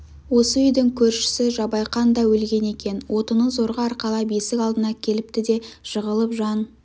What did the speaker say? осы үйдің көршісі жабайқан да өлген екен отынын зорға арқалап есік алдына келіпті де жығылып жан